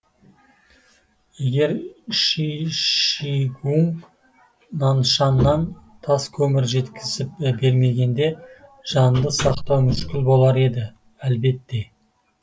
егер ши шигуң наншаннан таскөмір жеткізіп бермегенде жанды сақтау мүшкіл болар еді әлбетте